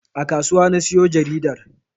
A kasuwa na siyo jaridar